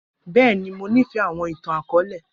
Bẹẹni, Mo nifẹ awọn itan-akọọlẹ.